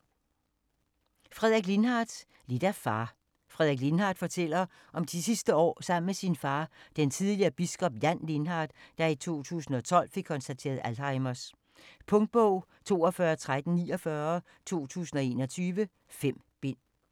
Lindhardt, Frederik: Lidt af far Frederik Lindhardt fortæller om de sidste år sammen med sin far, den tidligere biskop, Jan Lindhardt, der i 2012 fik konstateret Alzheimers. Punktbog 421349 2021. 5 bind.